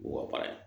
Wa baara ye